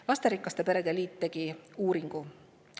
Lasterikaste perede liit tegi uuringu.